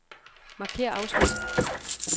Markér afsnit.